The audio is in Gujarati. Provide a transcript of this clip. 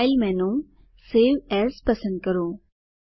ફાઇલ મેનુ સવે એએસ પસંદ કરો